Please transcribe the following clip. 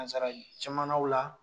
Nansara jamanaw la.